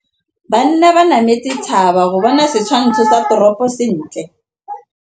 Banna ba nametse thaba go bona setshwantsho sa toropô sentle.